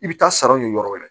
I bɛ taa saraw ɲini yɔrɔ wɛrɛ